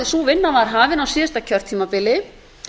sú vinna var hafin á síðasta kjörtímabili